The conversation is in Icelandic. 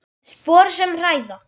Spor sem hræða.